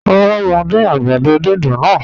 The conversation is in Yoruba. Ràrà, mo dín àgbàdó dídùn náà